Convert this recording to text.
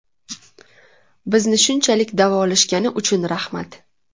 Bizni shunchalik davolashgani uchun rahmat.